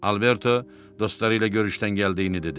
Alberto dostları ilə görüşdən gəldiyini dedi.